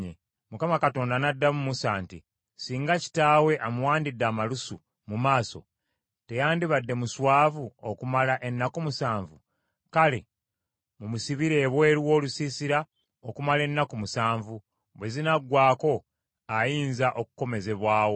Mukama Katonda n’addamu Musa nti, “Singa kitaawe amuwandidde amalusu mu maaso, teyandibadde muswavu okumala ennaku musanvu? Kale mumusibire ebweru w’olusiisira okumala ennaku musanvu; bwe zinaggwaako ayinza okukomezebwawo.”